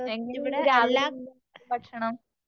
എങ്ങനെയുണ്ട് രാവിലെ നിന്റെ ഭക്ഷണം?